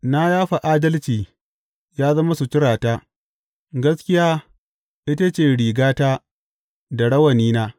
Na yafa adalci ya zama suturata; gaskiya ita ce rigata da rawanina.